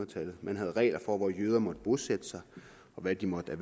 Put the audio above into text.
tallet man havde regler for hvor jøder måtte bosætte sig og hvad de måtte